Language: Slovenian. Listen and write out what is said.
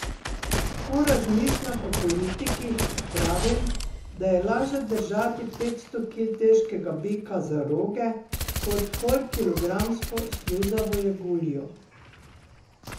Ko razmišljam o politikih, pravim, da je laže držati petsto kil težkega bika za roge kot polkilogramsko sluzavo jeguljo.